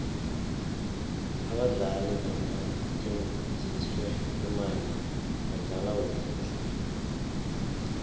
abadlali nabathenjiswe imali badlala kuhle tle